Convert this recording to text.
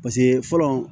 Paseke fɔlɔ